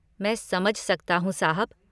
मैं समझ सकता हूँ, साहब।